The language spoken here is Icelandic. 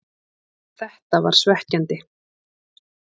Þetta var svekkjandi,